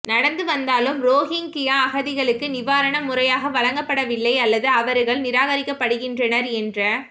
நடந்து வந்தாலும் ரோஹிங்கியா அகதிகளுக்கு நிவாரணம் முறையாக வழங்கப்படவில்லை அல்லது அவர்கள் நிராகரிக்கப்படுகின்றனர் என்ற